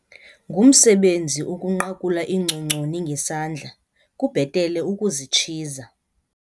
Ngumsebenzi ukunqakula iingcongconi ngesandla kubhetele ukuzitshiza.